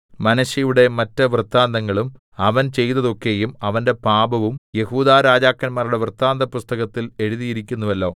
മനശ്ശെയുടെ മറ്റ് വൃത്താന്തങ്ങളും അവൻ ചെയ്തതൊക്കെയും അവന്റെ പാപവും യെഹൂദാ രാജാക്കന്മാരുടെ വൃത്താന്തപുസ്തകത്തിൽ എഴുതിയിരിക്കുന്നുവല്ലോ